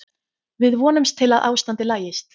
Við vonumst til að ástandið lagist.